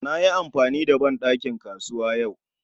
Na yi amfani da ban ɗakin kasuwa yau